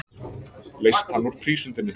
Leyst hann úr prísundinni.